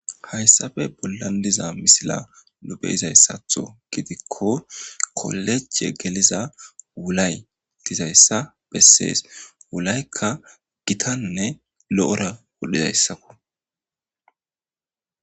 Hayssafe bollan diza misila luphe izayssatho gidikko kolleje geliza wulay dizayssa bessees wulaykka gitanne lo'ora wodhdhidayssaku